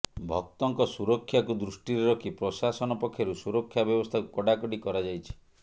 ଭକ୍ତଙ୍କ ସୁରକ୍ଷାକୁ ଦୃଷ୍ଟିରେ ରଖି ପ୍ରଶାସନ ପକ୍ଷରୁ ସୁରକ୍ଷା ବ୍ୟବସ୍ଥାକୁ କଡ଼ାକଡ଼ି କରାଯାଇଛି